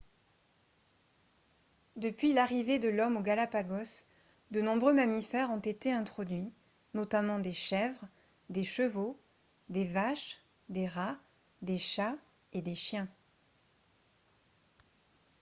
depuis l'arrivée de l'homme aux galapagos de nombreux mammifères ont été introduits notamment des chèvres des chevaux des vaches des rats des chats et des chiens